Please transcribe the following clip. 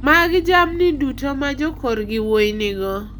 Mag jamni duto ma jokorgi wuoyi nigo.